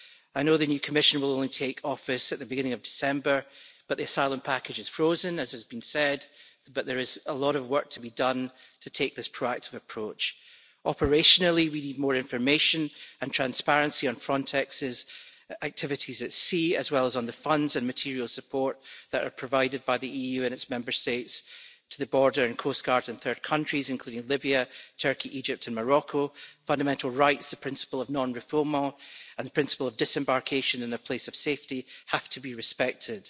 I know the new Commission will only take office at the beginning of December, but the Asylum Package is frozen, as has been said. But there is a lot of work to be done to take this proactive approach. Operationally, we need more information and transparency on Frontex's activities at sea, as well as on the funds and material support that are provided by the EU and its Member States to the border and coast guards in third countries, including Libya, Turkey, Egypt and Morocco. Fundamental rights, the principle of non refoulement and the principle of disembarkation in a place of safety have to be respected.